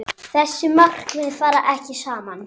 Þessi markmið fara ekki saman.